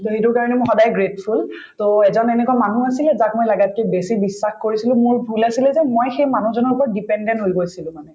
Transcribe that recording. to সেইটো কাৰণে মই সদায়ে grateful to এজন এনেকুৱা মানুহ আছিলে যাক মই লাগাতকে বেছি বিশ্বাস কৰিছিলো মোৰ ভূল আছিলে যে মই সেই মানুহজনৰ ওপৰত dependent হৈ গৈছিলো মানে